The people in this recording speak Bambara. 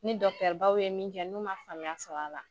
Ni dɔkitɛribaw ye min kɛ n'u man faamuya sɔrɔ a la.